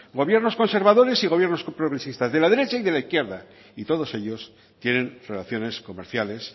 gobiernos conservadores y gobiernos progresistas de la derecha y de la izquierda y todos ellos tienen relaciones comerciales